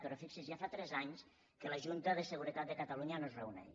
però fixi’s ja fa tres anys que la junta de seguretat de catalunya no es reuneix